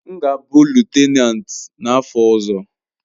M ga-abụ lutenanti n'afọ ọzọ.